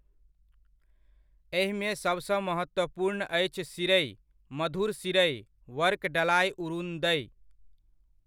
एहिमे सभसँ महत्वपूर्ण अछि सीड़इ, मधुर सीड़इ, वर्कडलाइ उरुन्दइ।